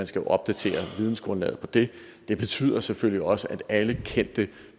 skal opdatere vidensgrundlaget for det det betyder selvfølgelig også at alle de kendte